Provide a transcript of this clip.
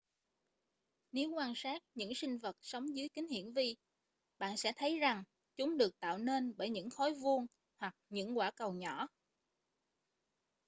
nếu quan sát những sinh vật sống dưới kính hiển vi bạn sẽ thấy rằng chúng được tạo nên bởi những khối vuông hoặc những quả cầu nhỏ